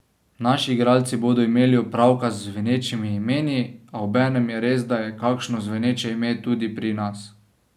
Naši igralci bodo imeli opravka z zvenečimi imeni, a obenem je res, da je kakšno zveneče ime tudi pri nas.